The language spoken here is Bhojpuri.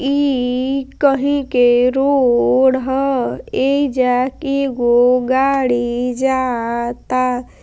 ई कहीं के रोड ह एजा एगो गाड़ी जा ता।